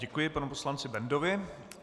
Děkuji panu poslanci Bendovi.